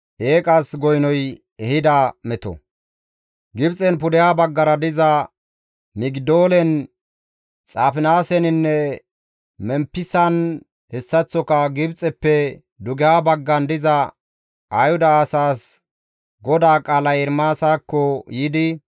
Gibxen pudeha baggara diza Migidoolen, Xaafinaaseninne Memppisan hessaththoka Gibxeppe dugeha baggan diza Ayhuda asaas GODAA qaalay Ermaasakko yiidi,